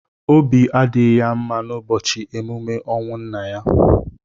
Obi adịghị ya mma n'ụbọchị emume ọnwụ nna ya.